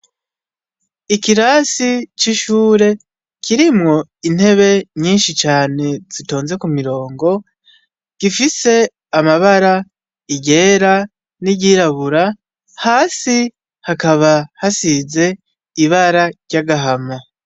Ikirasi c'ishure kirimwo intebe nyinshi cane, zitonze k'umurongo gifise amabara iryera, n'iryirabura, hasi hakaba hasize ibara ry'agahama.